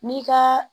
N'i ka